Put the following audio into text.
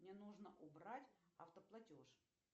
мне нужно убрать автоплатеж